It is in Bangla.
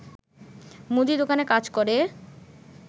মুদি দোকানে কাজ করে